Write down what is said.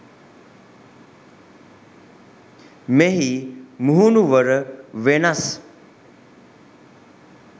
මෙහි මුහුණුවර වෙනස්